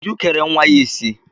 Uju kere nwa ya isi.